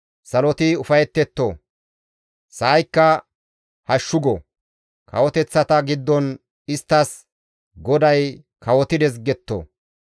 Saloti ufayetetto! sa7aykka hashshu go! Kawoteththata giddon isttas, «GODAY kawotides!» getto.